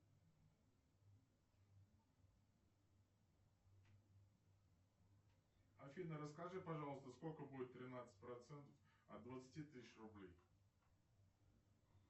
афина расскажи пожалуйста сколько будет тринадцать процентов от двадцати тысяч рублей